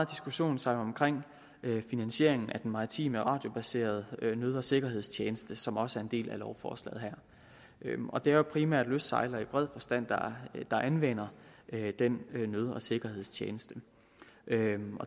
diskussionen sig omkring finansieringen af den maritime radiobaserede nød og sikkerhedstjeneste som også er en del af lovforslaget her og det er jo primært lystsejlere i bred forstand der anvender den nød og sikkerhedstjeneste